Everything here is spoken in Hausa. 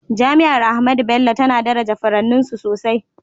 Jami’ar Ahmadu Bello tana daraja furanninsu sosai